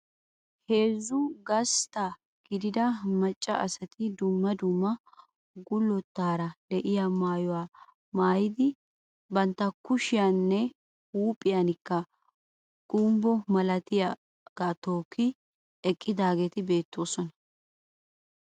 Heezzu gasttaa gidida macca asati dumma dumma gullettaara de'iyaa maayuwaa maayidi bantta kushiyaan nne huuphphiyaanikka gombbo milatiyaagaa tokki eqqidaageeti beettoosona.